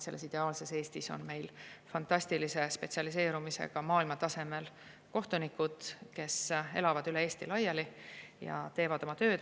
Selles ideaalses Eestis on meil fantastilise spetsialiseerumisega maailmatasemel kohtunikud, kes elavad üle Eesti laiali ja teevad oma tööd.